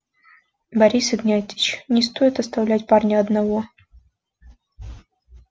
борис игнатьевич не стоит оставлять парня одного